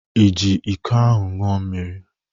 Iji iko ahụ ńụọ mmiri?